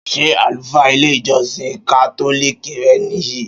Ṣé àlùfáà ilé ìjósìn kátólìkì re ní yi?